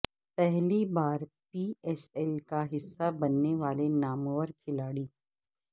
پہلی بار P S L کا حصہ بننے والے نامور کھلاڑی